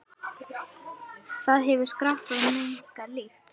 Það hefur skarpa, megna lykt.